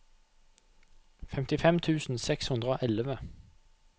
femtifem tusen seks hundre og elleve